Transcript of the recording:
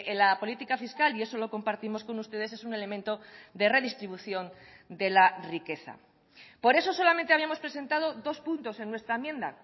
la política fiscal y eso lo compartimos con ustedes es un elemento de redistribución de la riqueza por eso solamente habíamos presentado dos puntos en nuestra enmienda